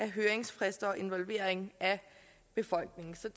høringsfrister og involvering af befolkningen så